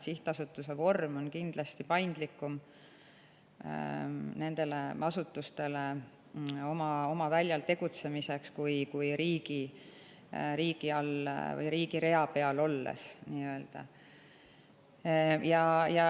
Sihtasutuse vorm võimaldab nendel asutustel kindlasti paindlikumalt oma väljal tegutseda kui nii-öelda riigi rea peal olemine.